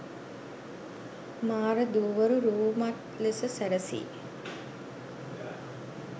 මාර දූවරු රූමත් ලෙස සැරසී